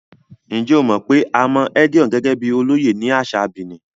Ǹjẹ́ o mọ̀ pé a mọ Edion gẹ́gẹ́ bíi olóyè ní àṣà Benin?